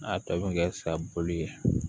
N'a tɔ bɛ kɛ sa bolo ye